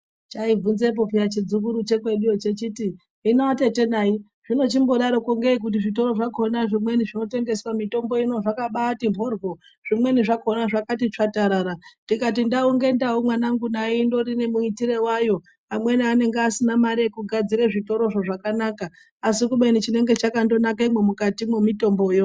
Chaibvunzepo peya chidzukuru chekweduwo chechiti hino atete nai zvinochimbodaroko ngei kuti zvitoro zvakona zvimweni zvinotengeswa mitombo ino zvakabati moryo zvimweni zvakona zvakati tsvatarara ndikati ndau ngendau mwanangu nai indori nemuitire wayo amweni anenge asina mare yekugadzira zvitorozvo zvakanaka asi kubeni chanenge chakandonakemwo mukatimwo mitomboyo.